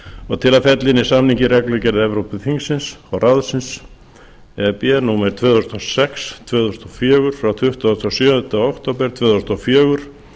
og til að fella inn í samninginn reglugerð evrópuþingsins og ráðsins númer tvö þúsund og sex tvö þúsund og fjögur frá tuttugasta og sjöunda október tvö þúsund og fjögur